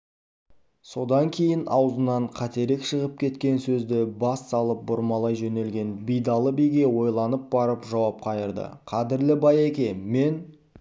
содан кейін аузынан қатерек шығып кеткен сөзді бас салып бұрмалай жөнелген байдалы биге ойланып барып жауап қайырды қадірлі байеке мен